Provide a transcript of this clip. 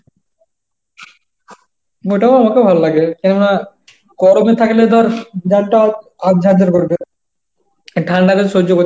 ওটাও আমাকে ভালো লাগে কেননা গরমে থাকলে তো আর গা টা করবে আর ঠান্ডা তে সহ্য করতে